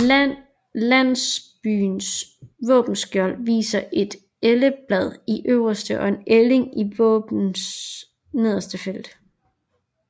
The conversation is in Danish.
Landsbyens våbenskjold viser et elleblad i øverste og en ælling i våbens nederste felt